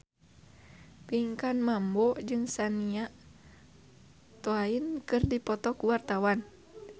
Pinkan Mambo jeung Shania Twain keur dipoto ku wartawan